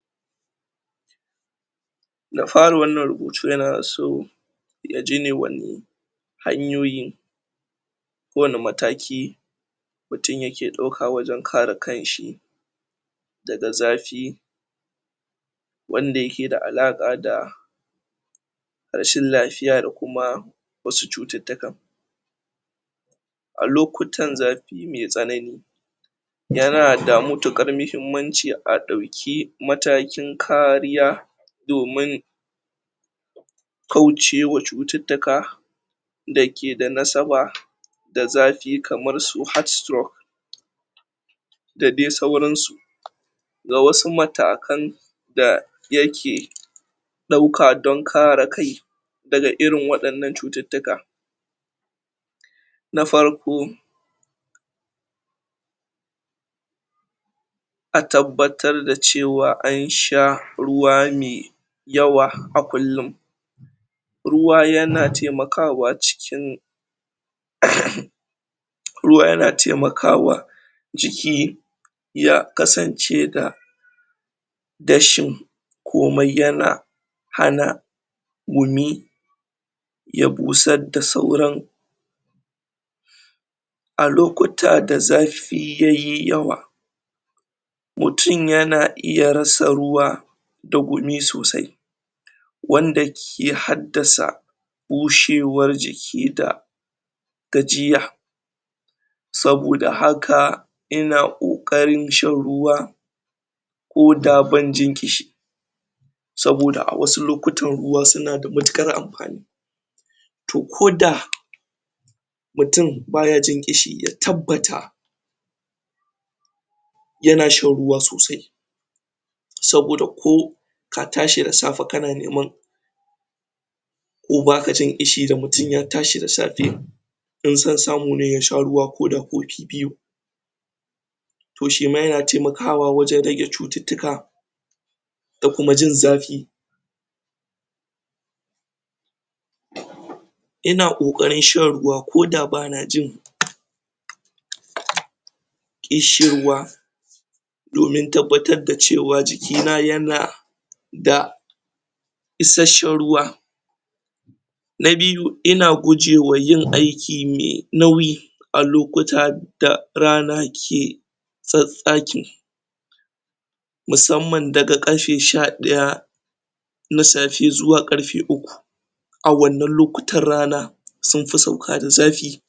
Da fari dai wannan rubutu yana so yaji ne wane hanyoyi ko wani mataki mutum yake dauka don kare kan shi daga zafi daga zafi wanda yake da alaka da rashin lafiya da kuma wasu cututtukan, a lokutan zafi mai tsanani yana da matukar mahimmaci a dauki matakin kariya domin kaucewa cututtuka dake da nasaba da zafi kamar su heartstroke da dai sauran su, ga wasu matakan da yake dauka don kare kai daga irin wadannan cututtuka, na farko na farko a tabbatar da cewa an sha ruwa mai yawa a kullum ruwa yana taimakawa ciki ruwa yana taimakawa ciki ya kasance da dashin komai yana hana gumi ya busar da sauran, a lokuta da zafi yayi yawa mutum yana iya rasa ruwa da gumi sosai wanda ke haddasa bushewar jiki da gajiya, saboda haka ina kokarin shan ruwa ko da ban jin kishi saboda a wasu lokutan ruwa suna da matukar amfani, to ko da mutum baya jin kishi ya tabbata yana shan ruwa sosai saboda ko ka tashi da safe kana nema ko baka jin kishi da mutum ya tashi da safe in son samu ne mutum yasha ruwa ko da kofi biyu, to shi ma yana taimakwa wajen rage cututtuka da kuma jin zafi, ina kokarin shan ruwa ko bana jin ko da bana jin kishin ruwa domin tabbatar da cewa jikina yana da isashshan ruwa na biyu ina gujewa yin aiki mai nauyi a lokuta da rana ke tsatstsaki musamman daga karfe sha daya zuwa karfe uku a wannan lokutan rana sun fi sauka da zafi.